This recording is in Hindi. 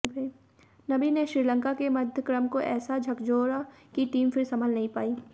नबी ने श्रीलंका के मध्यक्रम को ऐसा झकझोरा की टीम फिर संभल नहीं पाई